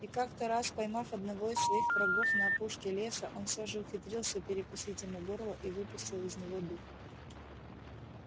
и как то раз поймав одного из своих врагов на опушке леса он все же ухитрился перекусить ему горло и выпустил из него дух